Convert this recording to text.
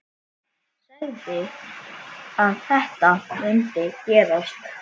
Sagði að þetta mundi gerast.